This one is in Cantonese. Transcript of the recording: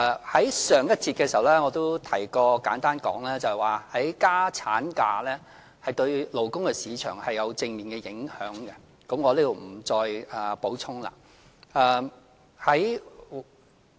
在上一節的時候，我亦簡單提及過，增加產假對勞工市場有正面影響，我在這裏不再補充。